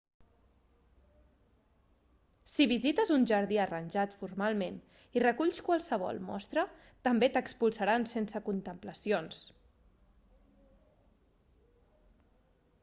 si visites un jardí arranjat formalment i reculls qualsevol mostra també t'expulsaran sense contemplacions